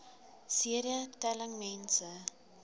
cd telling mense